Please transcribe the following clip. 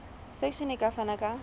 section e ka fana ka